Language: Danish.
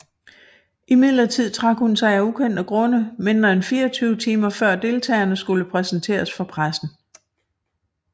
Imidlertid trak hun sig af ukendte grunde mindre end 24 timer før deltagerne skulle præsenteres for pressen